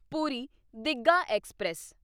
Puri Digha express